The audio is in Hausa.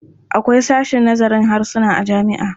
Akwai sashen nazarin harsuna a jami'a.